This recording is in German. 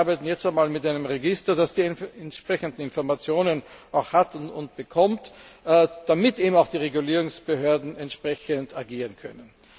Wir arbeiten jetzt einmal mit einem Register, das die entsprechenden Informationen hat und bekommt, damit auch die Regulierungsbehörden entsprechend agieren können.